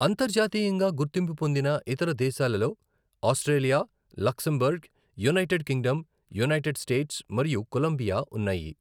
అంతర్జాతీయంగా గుర్తింపు పొందిన ఇతర దేశాలలో Australia, Luxembourg, United Kingdom, United States మరియు కొలంబియా ఉన్నాయి.